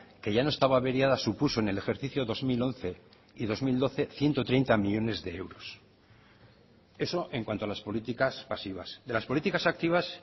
que ya no estaba averiada supuso en el ejercicio dos mil once y dos mil doce ciento treinta millónes de euros eso en cuanto a las políticas pasivas de las políticas activas